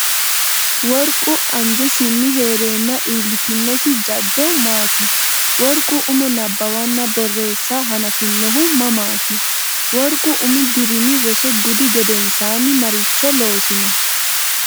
Worqu anjesinni hee’reenna iillitinosi jaddo maati? Worqu umo nabbawanna borreessa hanafinohu mamaati? Worqu umi dirimi roso gudi gedensaanni maricho loosino?